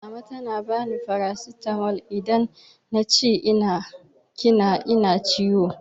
Mama tana bani farasitamol idan na ce ina kina na ciwo